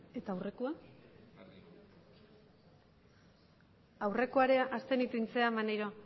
hirurogeita hamairu